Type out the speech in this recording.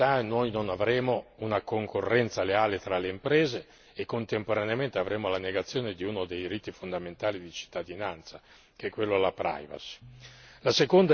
Senza uniformità non avremo una concorrenza leale tra le imprese e contemporaneamente avremo la negazione di uno dei diritti fondamentali di cittadinanza, che è quello alla privacy.